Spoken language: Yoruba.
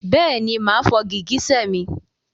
Bẹ́ẹ̀ni máa fọ gìgísẹ̀ mi.